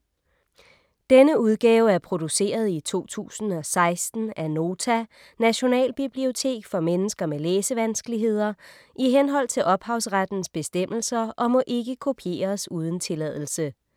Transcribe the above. Denne udgave er produceret i 2016 af Nota - Nationalbibliotek for mennesker med læsevanskeligheder, i henhold til ophavsrettens bestemmelser, og må ikke kopieres uden tilladelse.